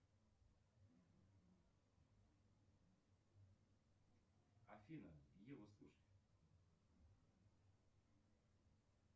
афина ева слушай